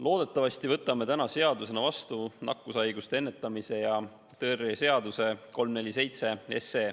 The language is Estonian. Loodetavasti võtame täna seadusena vastu nakkushaiguste ennetamise ja tõrje seaduse muutmise seaduse eelnõu 347.